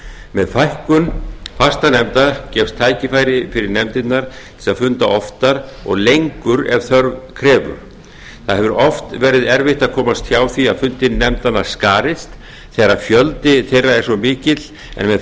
með fækkun fastanefnda gefst tækifæri fyrir nefndirnar til að funda oftar og lengur ef þörf krefur það hefur oft verið erfitt að komast hjá því að fundir nefndanna skarist þegar fjöldi þeirra er svo mikill en með